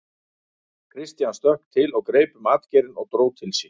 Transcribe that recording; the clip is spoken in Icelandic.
Christian stökk til og greip um atgeirinn og dró til sín.